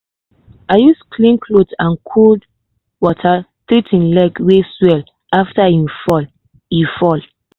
i use clean cloth and cold water treat him leg wey swell after e fall. e fall.